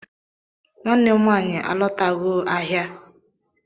Nwanne nwanyị alotago ahịa